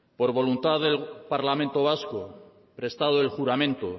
por voluntad del parlamento vasco prestado el juramento